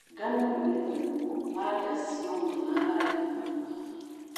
Ngano ĩgethagwo thanda cioma na rangi wa dhahabu.